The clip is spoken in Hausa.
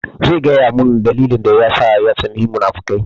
Zai gaya mun dalilin da yasa ya tsani munafukai